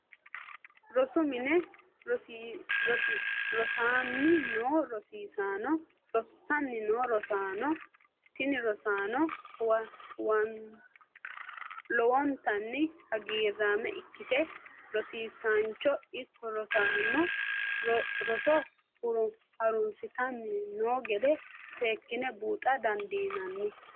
Rosu mine rosanni no rossaano, tini rosaano lowontanni haggiramma ikkite rosisancho ikko rosano roso harunsitanni noo geede seekine buuxxa dandinanni